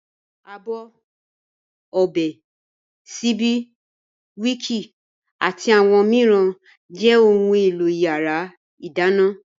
Abọ́, ọ̀bẹ, síbí, wííkì àti àwọn mìíràn jẹ́ ohun-èlò ìyàrá-ìdáná.